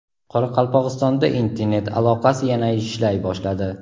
Qoraqalpog‘istonda internet aloqasi yana ishlay boshladi.